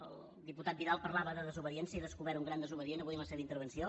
el diputat vidal parlava de desobediència he descobert un gran desobedient avui amb la seva intervenció